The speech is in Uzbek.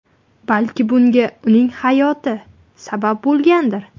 Balki bunga uning hayoti sabab bo‘lgandir.